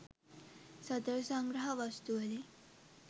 සතර සංග්‍රහ වස්තු වලින්